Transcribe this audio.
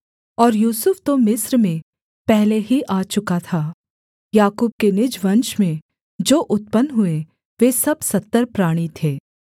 और यूसुफ तो मिस्र में पहले ही आ चुका था याकूब के निज वंश में जो उत्पन्न हुए वे सब सत्तर प्राणी थे